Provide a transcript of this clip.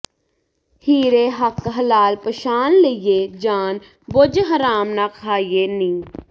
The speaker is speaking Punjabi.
ਹੀਰੇ ਹੱਕ ਹਲਾਲ ਪਛਾਣ ਲਈਏ ਜਾਣ ਬੁਝ ਹਰਾਮ ਨਾ ਖਾਈਏ ਨੀ